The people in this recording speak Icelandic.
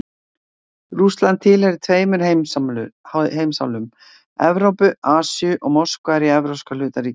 Rússland tilheyrir tveimur heimsálfum, Evrópu og Asíu, og Moskva er í evrópska hluta ríkisins.